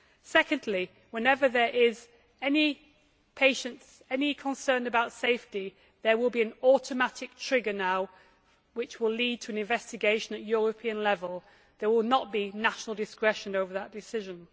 Secondly, whenever there is any concern about safety, there will now be an automatic trigger which will lead to an investigation at European level. There will not be national discretion over that decision.